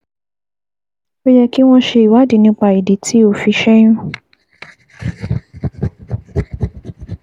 Ó yẹ kí wọ́n ṣe ìwádìí nípa ìdí tí o fi ṣẹ́yún